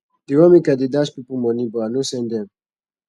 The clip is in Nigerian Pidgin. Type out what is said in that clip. dem want make i dey dash pipo moni but i no send dem